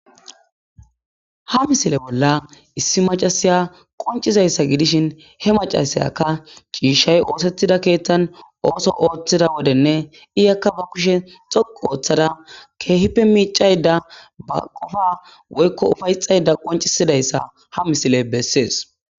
ha misile bolla issi macasiya qoncizayssa gidishin he macasayaka ciishshay oosettida keethtan ooso ooththida wodenne iyakka ba kushe dhoqu ooththada keehippe miicayda ba qofa woykko ufayxayda qoncisidayssa ha misile bessees